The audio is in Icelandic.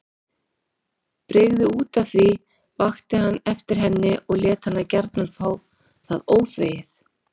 Brygði útaf því, vakti hann eftir henni og lét hana gjarna fá það óþvegið.